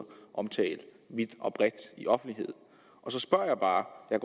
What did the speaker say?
omtale vidt og bredt i offentligheden så spørger jeg bare og jeg